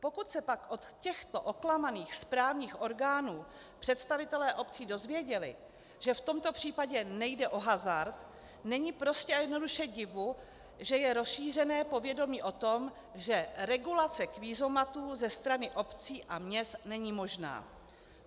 Pokud se pak od těchto oklamaných správních orgánů představitelé obcí dozvěděli, že v tomto případě nejde o hazard, není prostě a jednoduše divu, že je rozšířené povědomí o tom, že regulace kvízomatů ze strany obcí a měst není možná.